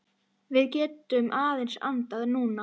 Við getum aðeins andað núna.